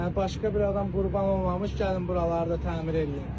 Yəni başqa bir adam qurban olmamış gəlin buraları da təmir edin.